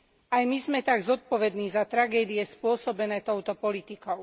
Aj my sme tak zodpovední za tragédie spôsobené touto politikou.